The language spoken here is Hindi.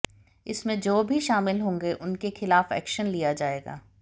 इसमें जो भी शामिल होंगे उनके खिलाफ एक्शन लिया जाएगा